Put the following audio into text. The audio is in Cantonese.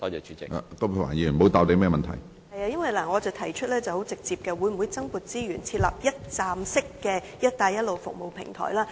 是的，因為我很直接地提出，會否增撥資源，設立一站式的"一帶一路"服務平台？